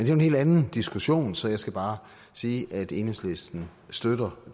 jo en helt anden diskussion så jeg skal bare sige at enhedslisten støtter